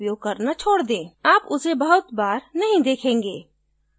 आप उसे बहुत बार नहीं देखेंगे